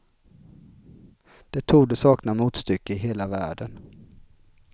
Det torde sakna motstycke i hela världen.